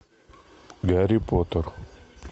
гарри поттер